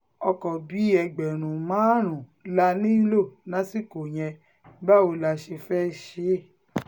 ọkọ̀ bíi ẹgbẹ̀rún márùn-ún la nílò lásìkò yẹn báwo la ṣe fẹ́ẹ́ ṣe